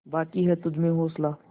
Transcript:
बाक़ी है तुझमें हौसला